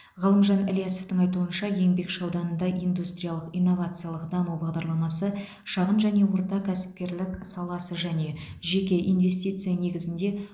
ғалымжан ильясовтың айтуынша еңбекші ауданында индустриялық инновациялық даму бағдарламасы шағын және орта кәсіпкерлік саласы және жеке инвестиция негізінде